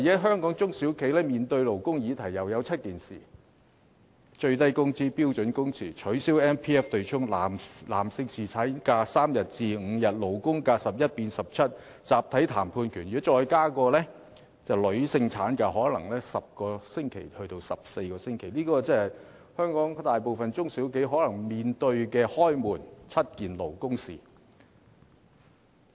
香港的中小企現時同樣面對7項勞工議題，即最低工資、標準工時、取消強制性公積金對沖、把男性僱員的侍產假由3天增至5天、把勞工假期由11天增至17天、集體談判權，如再加上可能要把女性僱員的產假由10個星期增至14個星期，香港大部分中小企可能便要面對"開門七件勞工事"。